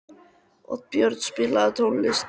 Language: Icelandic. Oddbjörn, spilaðu tónlist.